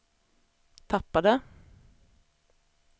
tappade